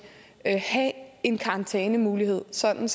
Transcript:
have en karantænemulighed sådan